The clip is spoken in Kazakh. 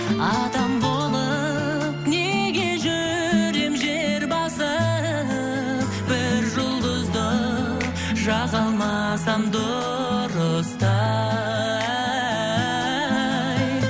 адам болып неге жүрем жер басып бір жұлдызды жаға алмасам дұрыста ай